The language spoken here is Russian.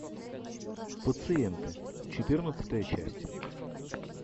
пациенты четырнадцатая часть